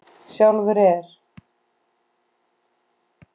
Sjálfur er